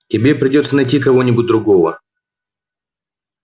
тебе придётся найти кого-нибудь другого